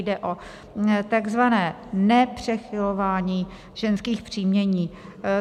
Jde o takzvané nepřechylování ženských příjmení.